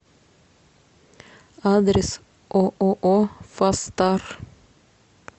адрес ооо фастар